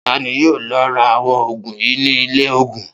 Ta ni yóò lọ ra àwọn òògùn yìí ní ilé-òògùn?